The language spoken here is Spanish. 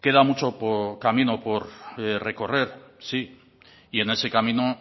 queda mucho camino por recorrer sí y en ese camino